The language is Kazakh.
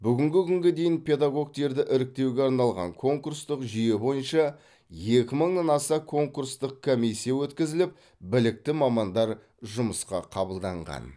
бүгінгі күнге дейін педагогтерді іріктеуге арналған конкурстық жүйе бойынша екі мыңнан аса конкурстық комиссия өткізіліп білікті мамандар жұмысқа қабылданған